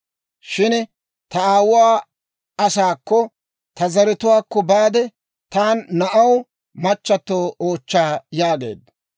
shin ta aawuwaa asaakko, ta zaratuwaakko baade, ta na'aw machchatto oochcha› yaageedda.